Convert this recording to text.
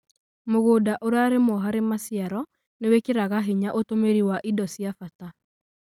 Mũgũnda ũrarĩmũo harĩ maciaro nĩ wĩkĩraga hinya ũtũmĩri wa indo cia bata